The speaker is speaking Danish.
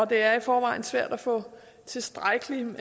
det er i forvejen svært at få tilstrækkeligt